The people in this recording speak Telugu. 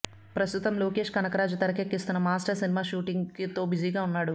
ప్రస్తుతం లోకేష్ కనకరాజు తెరకెక్కిస్తున్న మాస్టర్ సినిమా షూటింగ్ తో బిజీగా ఉన్నాడు